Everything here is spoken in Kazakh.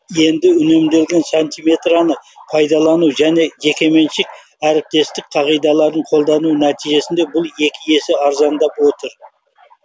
ал енді үнемделген сантиметретаны пайдалану және жекеменшік әріптестік қағидаларын қолдану нәтижесінде бұл екі есе арзандап отыр